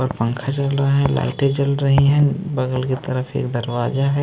पंखा चल रहा है लाइट जल रही हैं बगल की तरफ एक दरवाजा है।